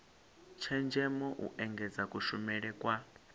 tshenzhemo u engedza kushumele kwa